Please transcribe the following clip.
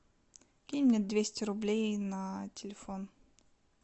кинь мне двести рублей на телефон